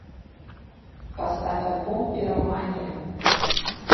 поставь альбом пиромания